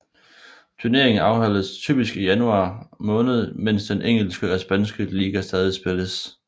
Turneringen afholdes typisk i januar måned mens den engelske og spanske liga stadig spilles